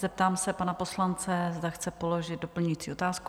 Zeptám se pana poslance, zda chce položit doplňující otázku.